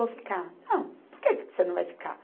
Vou ficar. Não, por que que você não vai ficar?